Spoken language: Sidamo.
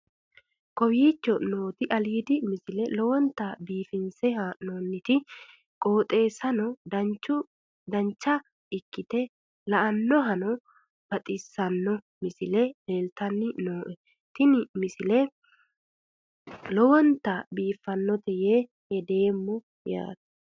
kowicho nooti aliidi misile lowonta biifinse haa'noonniti qooxeessano dancha ikkite la'annohano baxissanno misile leeltanni nooe ini misile lowonta biifffinnote yee hedeemmo yaate